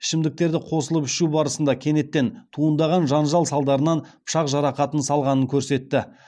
ішімдіктерді қосылып ішу барысында кенеттен туындаған жанжал салдарынан пышақ жарақатын салғанын көрсетті